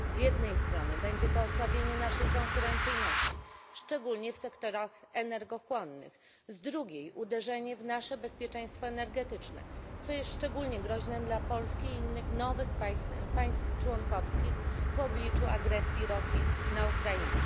Z jednej strony będzie to osłabienie naszej konkurencyjności, szczególnie w sektorach energochłonnych, z drugiej uderzenie w nasze bezpieczeństwo energetyczne, co jest szczególnie groźne dla Polski i innych nowych państw członkowskich w obliczu agresji Rosji na Ukrainę.